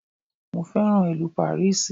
Mo féràn ìlú Pàríìsì.